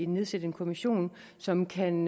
nedsætte en kommission som kan